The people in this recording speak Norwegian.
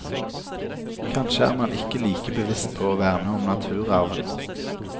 Kanskje er man ikke like bevisst på å verne om naturarven.